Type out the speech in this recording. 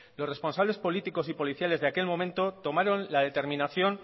los responsables políticos y policiales de aquel momento tomaron la determinación